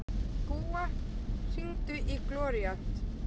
Gúa, hringdu í Gloríant.